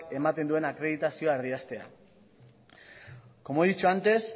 ematen duen akreditazioa erdiestea como he dicho antes